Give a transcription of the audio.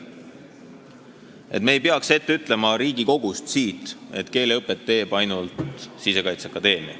Me ei peaks siit Riigikogust ette ütlema, et keeleõpet teeb ainult Sisekaitseakadeemia.